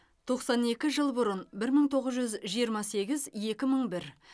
тоқсан екі жыл бұрын бір мың тоғыз жүз жиырма сегіз екі мың бір